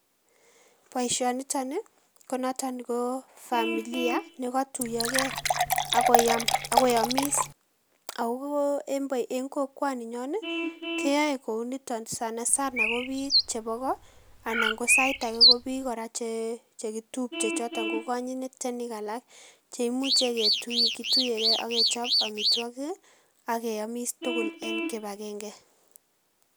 Boisionito nii konot ko familia nekotuyoge akoyomis, ako en kokwoninyon keyoe kounito sanasana kobiik chepo ko anan sait ake kobiik kora chekitupche choto kokonyitenik alak cheimuche kituyege akechop amitwokik akeyomis tugul en kipagenge.